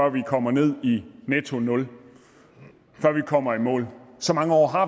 vi kommer ned i netto nul før vi kommer i mål så mange år har